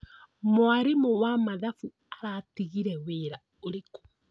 Mwarimũ wa mathabu aratigire wĩra ũrĩkũ?